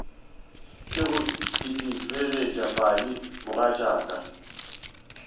ke go itefelet padi mogatšaka